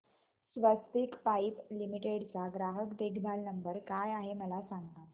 स्वस्तिक pipe limited चा ग्राहक देखभाल नंबर काय आहे मला सांगा